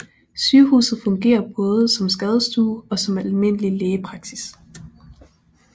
Sygehuset fungerer både som skadestue og som almindelig lægepraksis